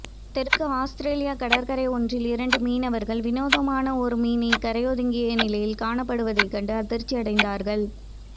தெற்கு அவுஸ்திரேலியக் கடற்கரை ஒன்றில் இரண்டு மீனவர்கள் விநோதமான ஒரு மீன் கரையொதுங்கிய நிலையில் காணப்படுவதைக்கண்டு அதிர்ச்சியடைந்தார்கள்